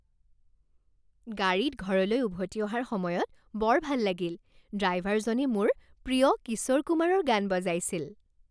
গাড়ীত ঘৰলৈ উভতি অহাৰ সময়ত বৰ ভাল লাগিল। ড্ৰাইভাৰজনে মোৰ প্ৰিয় কিশোৰ কুমাৰৰ গান বজাইছিল।